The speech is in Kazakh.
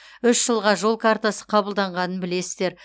үш жылға жол картасы қабылданғанын білесіздер